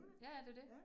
Ja ja, det jo det